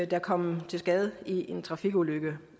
der kom til skade ved en trafikulykke